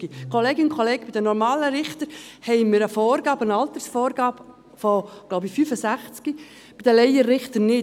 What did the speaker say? Kolleginnen und Kollegen, bei den normalen Richtern haben wir eine Altersvorgabe von – glaube ich – 65 Jahren, bei den Laienrichtern nicht.